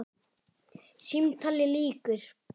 Símtali lýkur.